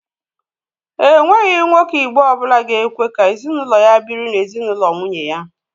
Ènweghi nwoke Igbo ọbụla ga-ekwe ka ezinụlọ ya biri n'ezinụlọ nwunye ya